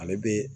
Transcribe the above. Ale bɛ